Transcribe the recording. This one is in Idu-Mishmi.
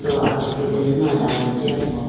toh asipi acha hunji adane jiyapo.